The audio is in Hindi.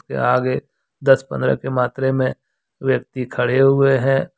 ये आगे दस पंद्रह के मात्रे में व्यक्ति खड़े हुए हैं।